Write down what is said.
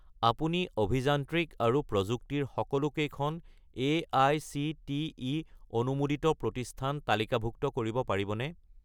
আপুনি অভিযান্ত্ৰিক আৰু প্ৰযুক্তি ৰ সকলোকেইখন এআইচিটিই অনুমোদিত প্ৰতিষ্ঠান তালিকাভুক্ত কৰিব পাৰিবনে?